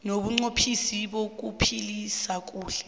nobunqophisi bokuphila kuhle